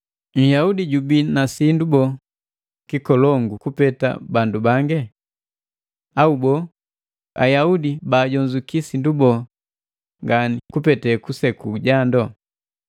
Nhyaudi jubii na sindu boo kikolongu kupeta bandu bangi? Au boo, Ayaudi baajonzuki sindu boo ngani kupete kuseku jandu?